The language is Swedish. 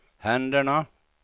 händerna